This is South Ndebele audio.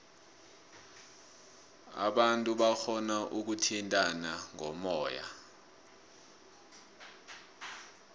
abantu barhona ukuthintana ngomoya